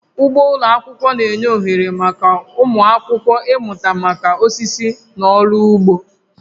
Ugbo ụlọ akwụkwọ na-enye ohere maka ụmụ akwụkwọ ịmụta maka osisi na ọrụ ugbo